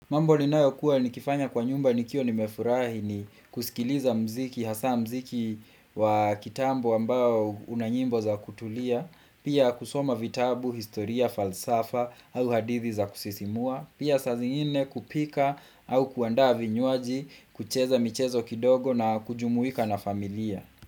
Mambo ninayokuwa nikifanya kwa nyumba nikiwa nimefurahi ni kusikiliza muziki, hasaa muziki wa kitambo ambao unanyimbo za kutulia, pia kusoma vitabu, historia, falsafa au hadithi za kusisimua, pia saa zingine kupika au kuandaa vinywaji, kucheza michezo kidogo na kujumuika na familia.